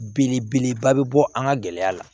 Belebeleba bɛ bɔ an ka gɛlɛya la